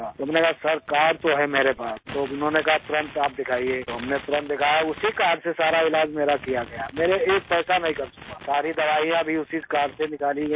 تو میں نے کہا سر کار تو ہے میرے پاس تو انہوں نے کہا کہ فوراً آپ دکھائیے تو ہم نے فوراً دکھایا اسی کارڈ سے سارا علاج میرا کیا گیا، میرا ایک پیسہ بھی خرچ نہیں ہوا، ساری دوائیں بھی اسی کارڈ سے نکالی گئی ہیں